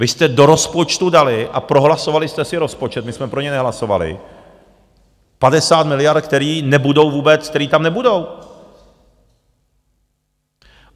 Vy jste do rozpočtu dali a prohlasovali jste si rozpočet, my jsme pro něj nehlasovali, 50 miliard, které nebudou vůbec, které tam nebudou.